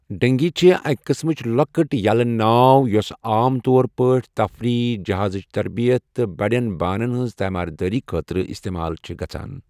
ڈنگی چِھ اَکہ قٕسمٕچ لۄکٕٹ یَلہٕ ناو یوٚس عام طور پٲٹھۍ تَفریٖح، جہازٕچ تربیت تہٕ بڑٮ۪ن بانن ہنٛز تیماردٲری خٲطرٕ استعمال چھِ گژھان۔